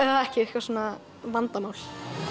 ekki eitthvað svona vandamál